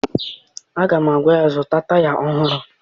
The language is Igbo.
Aga m agwa ya, zụta taya ọhụrụ!